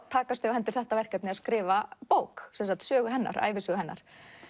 takast á hendur þetta verkefni að skrifa bók ævisögu hennar ævisögu hennar